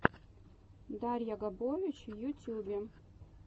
дарья габович в ютьюбе